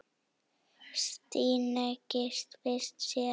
Stína giftist sér.